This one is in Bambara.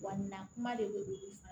Wa nin na kuma de bɛ olu